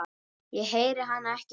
Ég heyri hana ekki hlæja